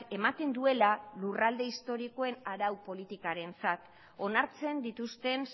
ematen duela lurralde historikoen arau politikarentzat onartzen dituzten